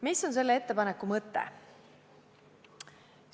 Mis on selle ettepaneku mõte?